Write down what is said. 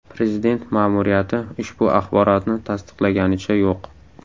Prezident ma’muriyati ushbu axborotni tasdiqlaganicha yo‘q.